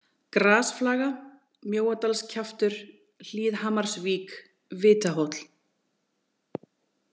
Grasflaga, Mjóadalskjaftur, Hlíðhamarsvík, Vitahóll